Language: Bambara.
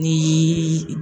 N'i